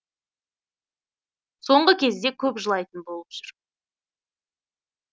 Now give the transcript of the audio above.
соңғы кезде көп жылайтын болып жүр